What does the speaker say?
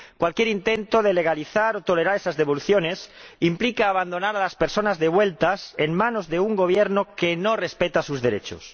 Cualquier intento de legalizar o tolerar esas devoluciones implica abandonar a las personas devueltas en manos de un Gobierno que no respeta sus derechos.